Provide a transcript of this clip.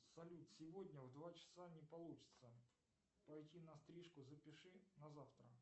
салют сегодня в два часа не получится пойти на стрижку запиши на завтра